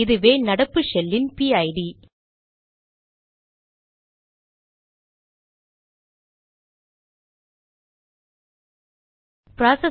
இதுவே நடப்பு ஷெல்லின் பிஐடிPID